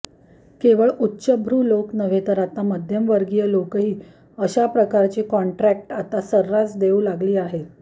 केवळ उच्चभ्रू नव्हे तर आता मध्यमवर्गीय लोकही अशा प्रकारची कॉन्ट्रॅक्ट आता सर्रास देऊ लागली आहेत